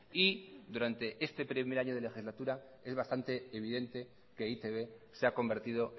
y durante este primer año de legislatura es bastante evidente que eitb se ha convertido